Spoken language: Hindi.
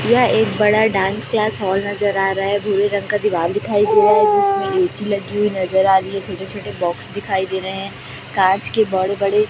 यह एक बड़ा डांस क्लास हॉल नजर आ रहा है भूरे रंग का दिवाल दिखाई दे रहा हैं जीसमें ए_सी लगी हुई नजर आ रही है छोटे छोटे बॉक्स दिखाई दे रहे हैं कांच के बड़े बड़े--